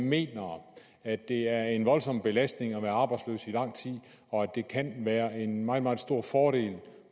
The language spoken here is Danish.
mener at det er en voldsom belastning at være arbejdsløs i lang tid og at det kan være en meget meget stor fordel